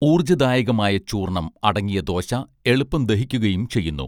ഊർജ ദായകമായ ചൂർണ്ണം അടങ്ങിയ ദോശ എളുപ്പം ദഹിക്കുകയും ചെയ്യുന്നു